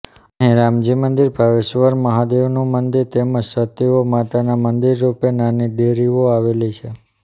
અહીં રામજી મંદિર ભાવેશશ્ચર મહાદેવનું મંદિર તેમજ સતીઓ માતાના મંદીર રુપે નાની દેરીઓ આવેલી છે